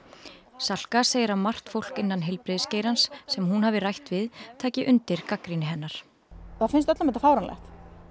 Salka segir að margt fólk innan heilbrigðisgeirans sem hún hafi rætt við taki undir gagnrýni hennar það finnst öllum þetta fáránlegt